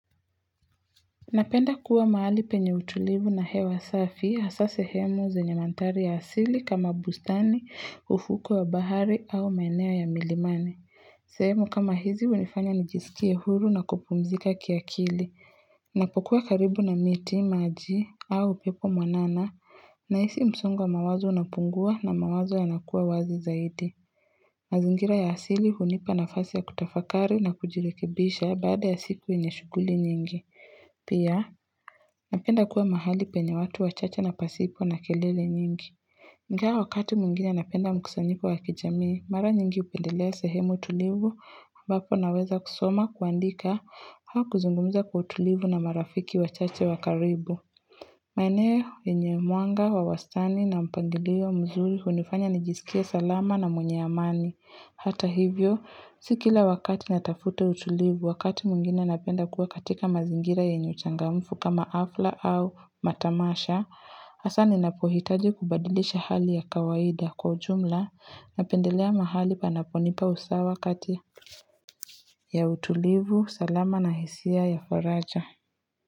Napenda kuwa mahali penye utulivu na hewa safi, hasa zenye mantari ya asili kama bustani, ufuku wa bahari au maenea ya milimani. Sehemu kama hizi unifanya nijisikie huru na kupumzika kia kili. Napokuwa karibu na miti, maji au pepo mwanana. Nahisi msungwa mawazo unapungua na mawazo yanakuwa wazi zaidi. Azingira ya asili hunipa nafasi ya kutafakari na kujirekebisha baada ya siku inyashuguli nyingi. Pia, napenda kuwa mahali penye watu wachache na pasipo na kelele nyingi. Nga wakati mwingine napenda mkusanyipo wakijami, mara nyingi upendelea sehemu tulivu, mbapo naweza kusoma, kuandika, hao kuzungumuza kwa tulivu na marafiki wachache wakaribu. Maaneyo, enye muanga, wawastani na mpangilio mzuri, unifanya nijisikia salama na mwenye amani. Hata hivyo, sikila wakati natafute utulivu wakati mungine napenda kuwa katika mazingira ya nyuchangamfu kama afla au matamasha, asani napohitaji kubadilisha hali ya kawaida kwa jumla napendelea mahali pa naponipa usawa kati ya utulivu. Salama na hisia ya faraja.